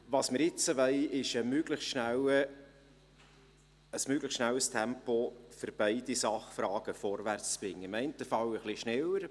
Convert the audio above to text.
Was wir jetzt wollen, ist ein möglichst schnelles Tempo, um beide Sachfragen vorwärtszubringen, im einen Fall etwas schneller.